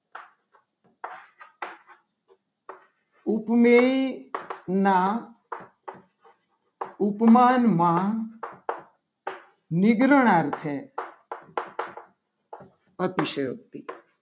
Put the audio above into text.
ઉપમેય ના ઉપમાનમાં નીગ્રહ અર્થે અતિશયોક્તિ